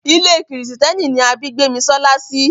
Ilé kìrìsìtẹ́nì ni a bí Gbémisọ́lá sí.